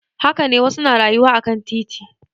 Haka ne wasu na rayuwa akan titi.